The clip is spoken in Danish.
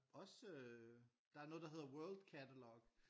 Også øh der er noget der hedder Worldcatalog